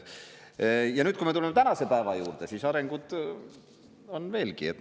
Ja nüüd, kui me tuleme tänase päeva juurde, siis arengut on veelgi.